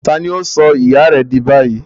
Ta àní ó sọ ìyá rẹ di báyìí